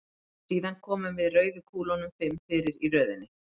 Síðan komum við rauðu kúlunum fimm fyrir í röðinni.